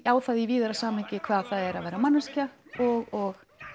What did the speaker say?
á það í víðara samhengi hvað það er að vera manneskja og